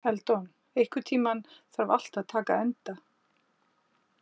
Eldon, einhvern tímann þarf allt að taka enda.